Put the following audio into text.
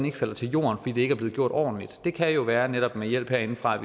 ikke falder til jorden fordi det ikke er blevet gjort ordentligt det kan jo være netop med hjælp herindefra at